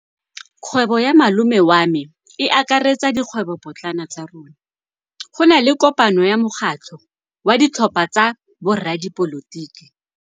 Kgwêbô ya malome wa me e akaretsa dikgwêbôpotlana tsa rona. Go na le kopanô ya mokgatlhô wa ditlhopha tsa boradipolotiki.